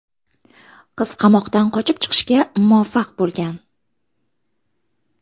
Qiz qamoqdan qochib chiqishga muvaffaq bo‘lgan.